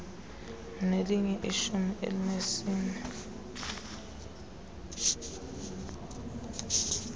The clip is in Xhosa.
unelinye ishumi elinesine